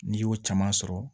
N'i y'o caman sɔrɔ